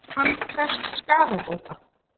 Hann krefst skaðabóta